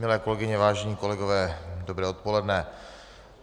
Milé kolegyně, vážení kolegové, dobré odpoledne.